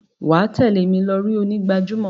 wà á tẹ̀lé mi lọri onígbàjámọ̀.